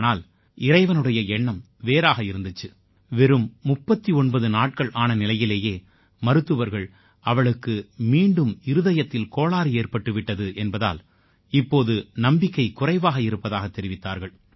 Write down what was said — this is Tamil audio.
ஆனால இறைவனுடைய எண்ணம் வேறாக இருந்திச்சு வெறும் 39 நாட்கள் ஆன நிலையிலேயே மருத்துவர்கள் அவளுக்கு மீண்டும் இருதயத்தில் கோளாறு ஏற்பட்டு விட்டது என்பதால் இப்போது நம்பிக்கை குறைவாக இருப்பதாகத் தெரிவித்தார்கள்